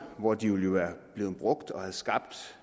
hvor de ville være blevet brugt og have skabt